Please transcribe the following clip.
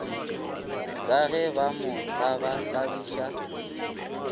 ka ge ba mo tlabatlabiša